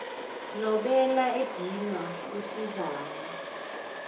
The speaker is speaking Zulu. nobela edinwa kusizani